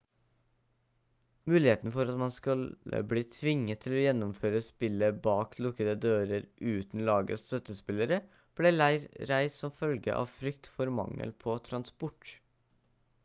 muligheten for at man skulle bli tvunget til å gjennomføre spillet bak lukkede dører uten lagets støttespillere ble reist som følge av frykt for mangel på transport